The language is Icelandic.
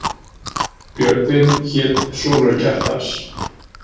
Björgvin hét sonur Kjartans.